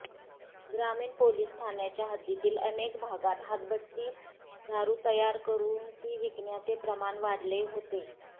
ग्रामीण पोलीस ठाण्यांच्या हद्दीतील अनेक भागात हातभट्टी दारू तयार करू ती विकण्याचे प्रमाण वाढले होते